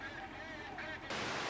Açıqdır, açıqdır.